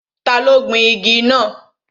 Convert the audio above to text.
Ta ló gbin igi náà?